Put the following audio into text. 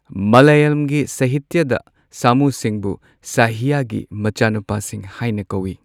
ꯃꯂꯌꯥꯂꯝꯒꯤ ꯁꯍꯤꯇ꯭ꯌꯗ ꯁꯥꯃꯨꯁꯤꯡꯕꯨ ꯁꯍ꯭ꯌꯥꯒꯤ ꯃꯆꯥꯅꯨꯄꯥꯁꯤꯡ ꯍꯥꯏꯅ ꯀꯧꯏ꯫